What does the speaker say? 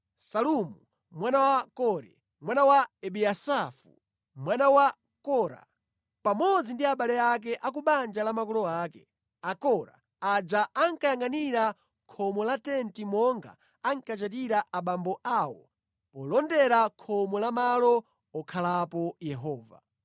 Salumu mwana wa Kore, mwana wa Ebiyasafu, mwana wa Kora, pamodzi ndi abale ake a ku banja la makolo ake, Akora aja ankanyangʼanira khomo la Tenti monga ankachitira abambo awo polondera khomo la malo okhalapo Yehova.